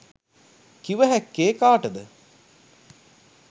කිව හැක්කේ කාටද?